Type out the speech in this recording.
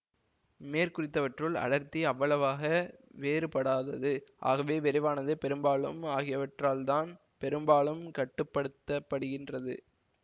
மேற்குறித்தவற்றுள் அடர்த்தி அவ்வளவாக வேறுபடாதது ஆகவே விரைவானது பெரும்பாலும் ஆகியவற்றால்தான் பெரும்பாலும் கட்டுப்படுத்தப்படுகின்றது